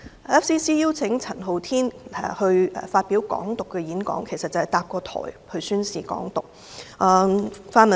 FCC 邀請陳浩天發表有關"港獨"的演講，其實便是建立平台宣示"港獨"。